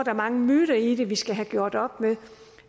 er mange myter i det som vi skal have gjort op med